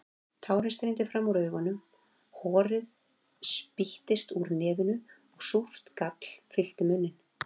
Tárin streymdu fram úr augunum, horið spýttist úr nefinu og súrt gall fyllti munninn.